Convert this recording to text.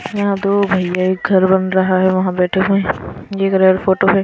यहां दो भईया इक घर बन रहा है वहा बैठे हुए दिख रहे फोटो मे।